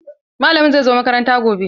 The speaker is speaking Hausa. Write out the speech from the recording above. Malamin zai zo makaranta gobe.